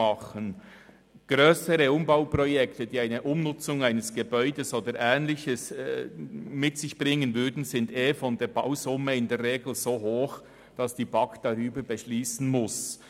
Die Bausumme für grössere Umbauprojekte, die eine Umnutzung eines Gebäudes oder ähnliches mit sich bringen, liegt in der Regel tendenziell so hoch, dass die BaK darüber beschliessen muss.